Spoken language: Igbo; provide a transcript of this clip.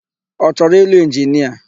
Ọ chọrọ ịlụ inginia?